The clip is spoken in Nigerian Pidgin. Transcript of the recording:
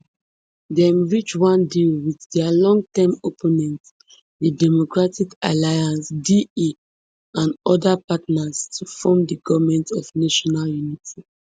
dem reach one deal wit dia longtime opponent di democratic alliance da and eight oda parties to form di goment of national unity